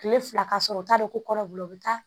Kile fila ka sɔrɔ u t'a dɔn ko kɔnɔ b'u bolo u bi taa